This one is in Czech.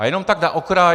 A jenom tak na okraj.